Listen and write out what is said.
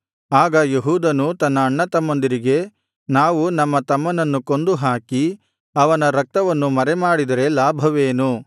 ಆಗ ಯೆಹೂದನು ತನ್ನ ಅಣ್ಣತಮ್ಮಂದಿರಿಗೆ ನಾವು ನಮ್ಮ ತಮ್ಮನನ್ನು ಕೊಂದು ಹಾಕಿ ಅವನ ರಕ್ತವನ್ನು ಮರೆಮಾಡಿದರೆ ಲಾಭವೇನು